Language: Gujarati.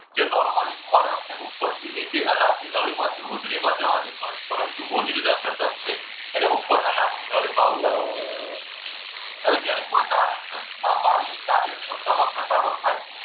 જે normally ખોરાકને ઉપરથી નીચે ન ળીમાં હોજરીમાં જવા દે પરંતુ હોજરીના ઘટક છે એને ઉપર નળીમાં આવતા નથી. હવે જ્યારે કોઈ કારણસર આ વાલની કાર્યક્ષમતામાં ઘટાડો થાય.